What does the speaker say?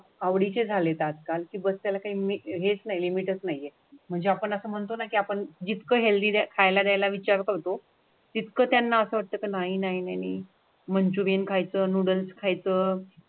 आवडींचे झाले तर आजकाल की बसला आहेस हेच नाही लिमिट नाही म्हणजे आपण असं म्हणतो ना की आपण जितकं हेल्दी खायला द्यायला विचार करतो तितकं त्यांना असं वाटत का नाही नाही मंचुरियन खायचं नूडल्स खायचं.